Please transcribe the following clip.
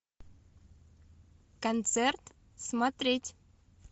концерт смотреть